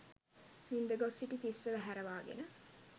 නින්ද ගොස් සිටි තිස්සව ඇහැරවාගෙන